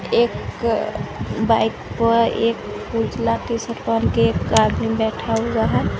एक बाइक पर एक उजला टी शर्ट पहन के एक आदमी बैठा हुआ है।